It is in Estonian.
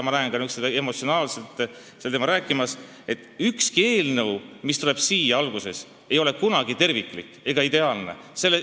Ma näen neid nii emotsionaalselt sel teemal rääkimas, aga ükski eelnõu, mis siia saali tuleb, ei ole kohe alguses terviklik ega ideaalne.